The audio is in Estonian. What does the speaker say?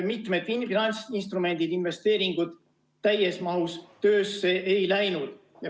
Mitu finantsinstrumenti, investeeringut täies mahus töösse ei läinud.